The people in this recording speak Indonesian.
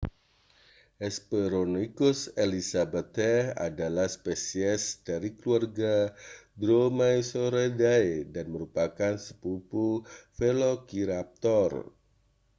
hesperonychus elizabethae adalah spesies dari keluarga dromaeosauridae dan merupakan sepupu velociraptor